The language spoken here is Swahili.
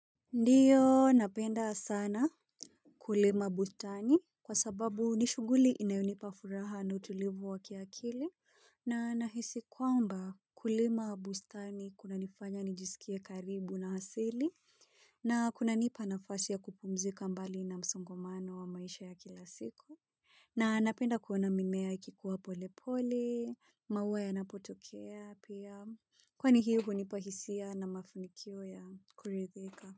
Ndiyo napenda sana kulima bustani kwa sababu ni shuguli inayonipa furaha na utulivu wa kiakili na nahisi kwamba kulima bustani kunanifanya nijiskie karibu na hasili na kunanipa nafasi ya kupumzika mbali na msongomano wa maisha ya kila siku. Na napenda kuona mimea ikikuwa pole pole maua yanapotokea pia kwani hii hunipa hisia na mafanikio ya kuridhika.